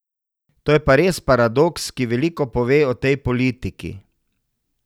To je pa res paradoks, ki veliko pove o tej politiki.